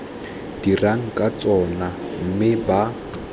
dirang ka tsona mme ba